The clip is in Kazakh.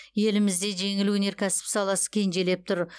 елімізде жеңіл өнеркәсіп саласы кенжелеп тұр